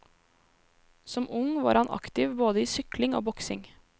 Som ung var han aktiv både i sykling og boksing.